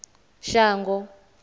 shango